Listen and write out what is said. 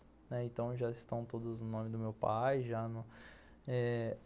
Então já estão todas no nome do meu pai, já no eh